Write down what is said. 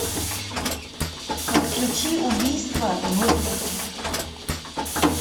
подключи убийство в